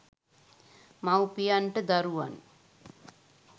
මවුපියන්ට දරුවන්